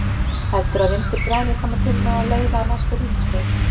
Heldurðu að Vinstri grænir komi til með að leiða næstu ríkisstjórn?